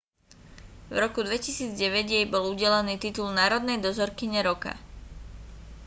v roku 2009 jej bol udelený titul národnej dozorkyne roka